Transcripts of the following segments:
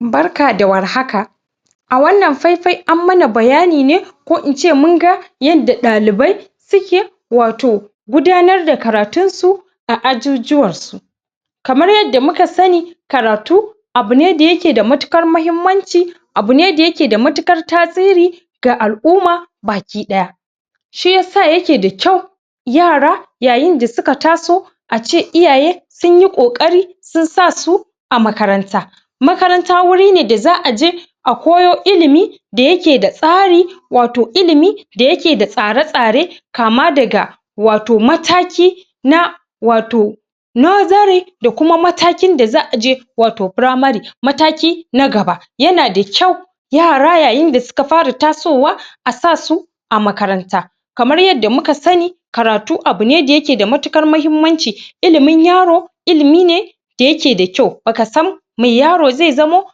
barka da war haka jama’a wannan faifai an mana bayani ne ko ince mun ga yanda ɗalibai suke wato gudanar da karatun su a a jujuwan su. Kamar yadda muka sani karatu abu ne daya ke da matuƙar mahimmanci abu ne da ke da matuƙar tasiri ga a'lumma baki daya. Shi yasa yake da kyau yara yayin da suka taso ace iyaye sun yi kokari sun sasu a makaranta makaranta wuri ne da za'a je a koyo ilimi da yake da tsari wato ilimi da yake da tsare-tsare kama daga wato mataki na wato nursery da kuma matakin da za'a aje wato primary wato mataki na gaba yana da kyau yara yayin da suka fara tasowa a sasu a makaranta Kamar yadda muka sani karatu abu ne da yake da matuƙar mahimmanci ilimin yaro, ilimi ne da yake da kyau, baka sam mai yaro zai zamo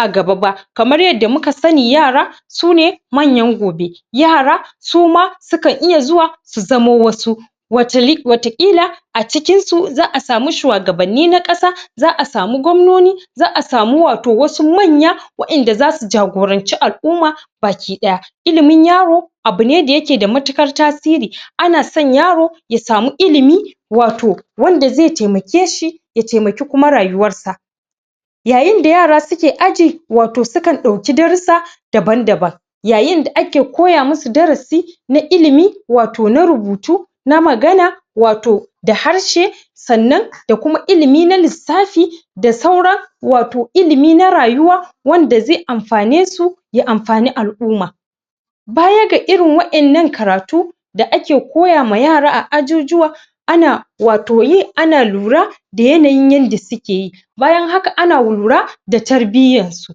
a gaba ba. Kamar yadda muka sani yara, sune manyan gobe yara suma sukan iya zuwa su zamo wasu watakila a cikin su, za'a samu shuwagabanni na ƙasa, za'a a samu gwamnoni za’a samu wasu manyan wadan da za su jagoranci al'umma baki ɗaya, ilimin abu ne da yake da matuƙar tasiri ana son yaro ya samu ilimi wato wanda zai taimake shi ya taimaki kuma rayuwan sa. yayin da yara suke aji sukan dauki darusa daban daban yayin da ake koya musu darasi na ilimi wato na rubutu, na magana wato da harshe sannan da kuma ilimi na lissafi da sauran wato ilimi na rayuwa wanda zai anfane su ya anfani al'umma. Baya ga irin wa, annan karatu da ake koya ma yara a ajujuwa ana wato yi ana lura da yanayin yanda suke yi bayan haka ana lura da tarbiyyan su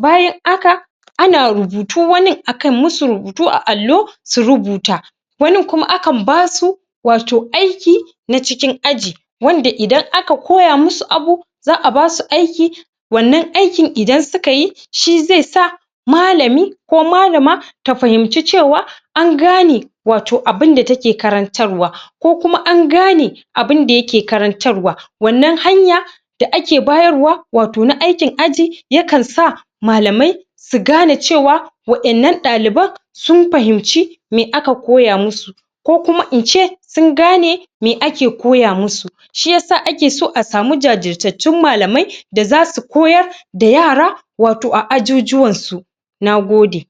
bayan haka ana rubutu wanin akan musu rubutu akan allo su rubuta wanin kuma akan basu wato aiki na cikin aji wanda idan aka koya musu abubu za'a basu aiki, wannan aikin idan su ka yi shi zai sa malami ko Malama ta fahimci cewa an gane wato abin da take karantarwa ko kuma an gane abin da take karantarwa wannan hanya da ake bayarwa wato na aikin aji yakan sa malamai su gane cewa Waƴannan ɗalibai sun fahimci me aka koya musu ko kuma ince sun gane me ake koya musu shi yasa, ake so a samu jajirtattun malamai da zasu koyar da yara wato a ajujuwan su Na gode.